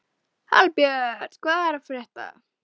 Hallbjörn, hvað er að frétta?